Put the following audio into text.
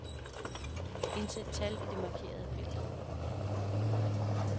Indsæt tal i det markerede felt.